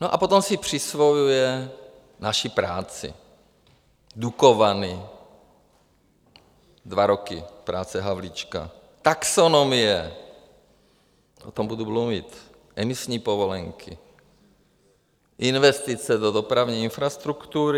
No a potom si přisvojuje naši práci - Dukovany, dva roky práce Havlíčka, taxonomie - o tom budu mluvit, emisní povolenky, investice do dopravní infrastruktury.